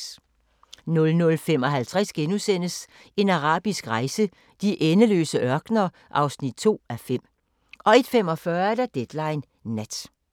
00:55: En arabisk rejse: De endeløse ørkener (2:5)* 01:45: Deadline Nat